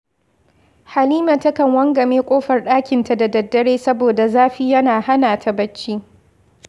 Halima takan wangame ƙofar ɗakinta da daddare saboda zafi yana hana ta barci